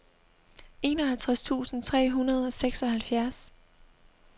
enoghalvtreds tusind tre hundrede og seksoghalvfjerds